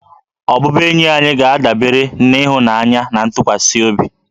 Ọbụbụenyi anyị ga-adabere na ịhụnanya na ntụkwasị obi